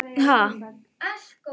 Bara að ekkert hefði komið fyrir hann.